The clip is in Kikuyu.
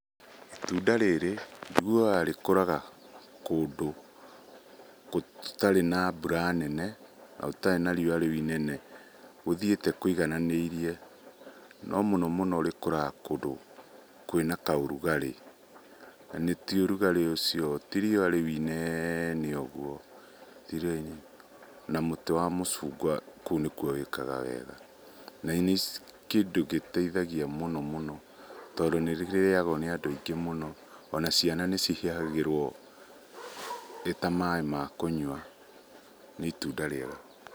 Itunda rĩrĩ njiguaga rĩkũraga kũndũ gũtarĩ na mbura nene na gũtarĩ na riũa rĩu inene gũthiĩte kũigananĩirie. No mũno mũno rĩkũraga kũndũ kwĩna ka ũrugarĩ na ti ũrugarĩ ũcio, ti riũa rĩu i nene ũguo. Na mũtĩ wa mũcungwa kũu nĩkuo wĩkaga wega, na nĩ kĩndũ gĩteithagia mũno mũno tondũ nĩ rĩrĩagwo nĩ andũ aingĩ mũno. Ona ciana nĩ cihihagĩrwo rĩta maaĩ ma kũnyua. Nĩ itunda rĩega.